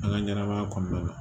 An ka ɲɛnɛmaya kɔnɔna la